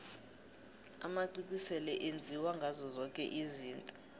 amacici sele enziwa ngazo zoke izinto